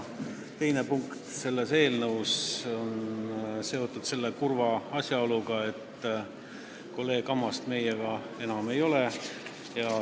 Teine punkt selles eelnõus on seotud kurva asjaoluga, et kolleeg Ammast meiega enam ei ole.